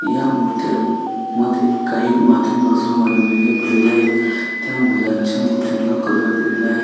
या मूर्त्यां मध्ये काही मातींपासून बनवलेले बैल आहेत त्या बैलांच्या मूर्तींना कलर दिलेला आहे.